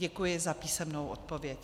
Děkuji za písemnou odpověď.